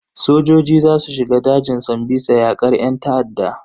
Sojoji za su shiga dajin sambisa yakar yan ta'adda.